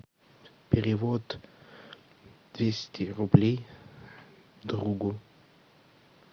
перевод двести рублей другу